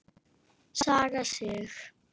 Saga Sig.